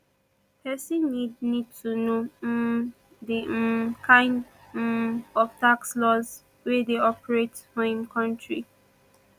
person need need to know um di um kind um of tax laws wey dey operate for im country